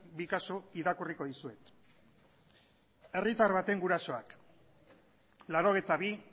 bi kasu irakurriko dizuet herritar baten gurasoak laurogeita bi